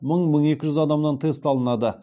мың мың екі жүз адамнан тест алынады